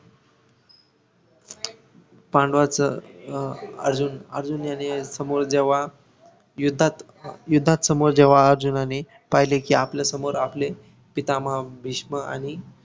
पांडवांच अं आजून अर्जुनायान समोर जेव्हा युद्धात युद्धात समोर जेव्हा अर्जुनांनी पहिले कि आपल्यासमोर आपले पितामह भीष्म आणि